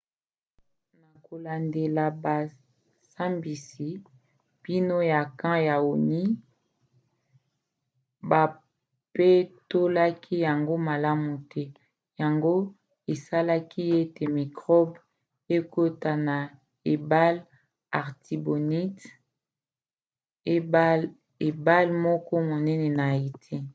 na kolandela bosambisi mbindo ya camp ya onu bapetolaki yango malamu te yango esalaki ete mikrobe ekota na ebale artibonite ebale moko monene na haïti